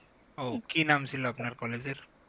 ও কি নাম ছিল আপনার college এর